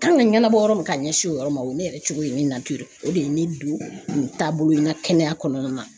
Kan ka ɲɛnabɔ yɔrɔ min ka ɲɛsin o yɔrɔ ma o ye ne yɛrɛ cogo ye ne o de ye ne don nin taabolo in ka kɛnɛya kɔnɔna na.